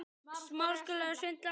Hvað, það segir enginn neitt.